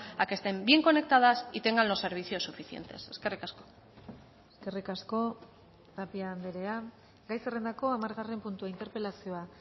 a que estén bien conectadas y tengan los servicios suficientes eskerrik asko eskerrik asko tapia andrea gai zerrendako hamargarren puntua interpelazioa